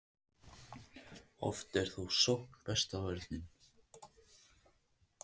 Oft er þó sókn besta vörnin.